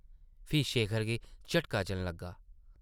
फ्ही शेखर गी झटका जन लग्गा ।